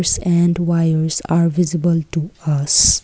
and wires are visible to us.